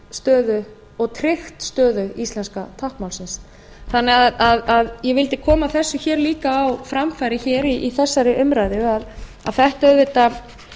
stöðu og tryggt stöðu íslenska táknmálsins ég vildi koma þessu líka á framfæri hér í þessari umræðu að þetta auðvitað